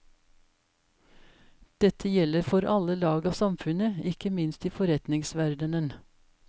Dette gjelder for alle lag av samfunnet, ikke minst i forretningsverdene.